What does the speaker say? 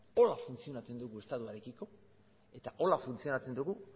horrela funtzionatzen du estatuarekiko eta horrela funtzionatzen dugu